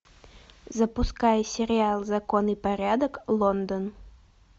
запускай сериал закон и порядок лондон